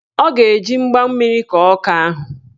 Ọ ga-eji mgba mmiri kọọ ọka ahụ